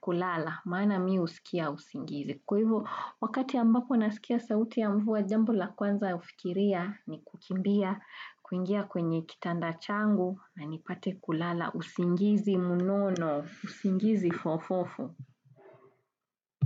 kulala maana mi husikia usingizi. Kwa hivyo wakati ambapo nasikia sauti ya mvua jambo la kwanza ufikiria ni kukimbia kuingia kwenye kitanda changu na nipate kulala usingizi munono usingizi fofofo.